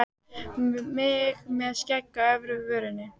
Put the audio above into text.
Mig með skegg á efri vörinni.